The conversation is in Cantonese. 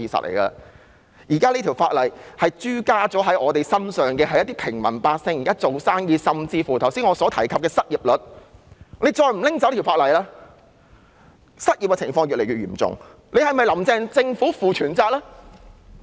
現時限聚令已加諸在平民百姓和做生意的人身上，甚至影響到我剛才提及的失業率，政府再不取消這項附屬法例，失業情況會越來越嚴重，是否"林鄭"政府負全責呢？